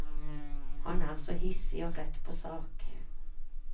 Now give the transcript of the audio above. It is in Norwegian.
Han er så hissig og rett på sak.